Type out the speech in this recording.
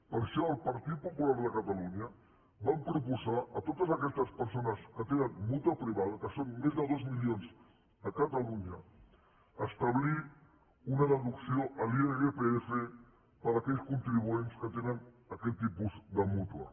per això el partit popular de catalunya vam proposar a totes aquestes persones que tenen mútua privada que són més de dos mi lions a catalunya establir una deducció a l’irpf per a aquells contribuents que tenen aquest tipus de mútua